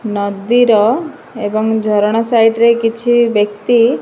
ନଦୀର ଏବଂ ଝରଣା ସାଇଟରେ କିଛି ବ୍ୟକ୍ତି।